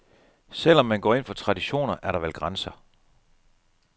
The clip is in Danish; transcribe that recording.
Selv om man går ind for traditioner, er der vel grænser.